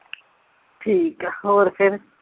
ਠੀਕ ਆ ਹੋਰ ਫਿਰ